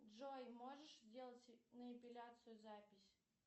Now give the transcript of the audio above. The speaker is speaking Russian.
джой можешь сделать на эпиляцию запись